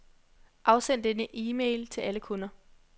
Afsend denne e-mail til alle kunder.